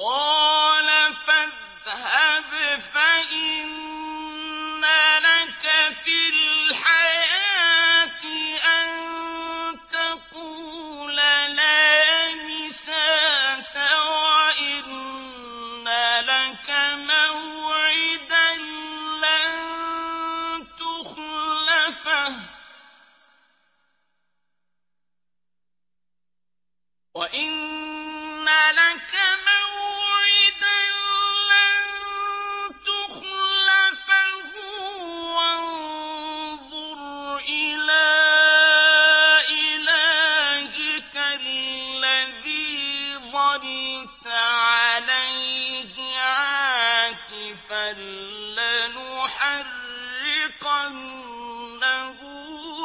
قَالَ فَاذْهَبْ فَإِنَّ لَكَ فِي الْحَيَاةِ أَن تَقُولَ لَا مِسَاسَ ۖ وَإِنَّ لَكَ مَوْعِدًا لَّن تُخْلَفَهُ ۖ وَانظُرْ إِلَىٰ إِلَٰهِكَ الَّذِي ظَلْتَ عَلَيْهِ عَاكِفًا ۖ لَّنُحَرِّقَنَّهُ